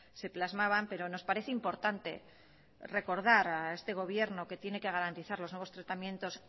se plasmaban pero nos parece importante recordar a este gobierno que tiene que garantizar los nuevos tratamientos